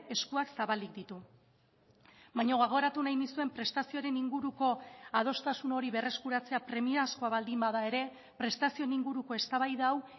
eskuak zabalik ditu baina gogoratu nahi nizuen prestazioaren inguruko adostasun hori berreskuratzea premiazkoa baldin bada ere prestazioen inguruko eztabaida hau